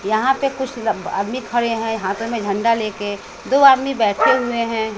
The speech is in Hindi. यहां पे कुछ अह आदमी खड़े हैं हाथों में झंडा ले के दो आदमी बैठे हुए हैं।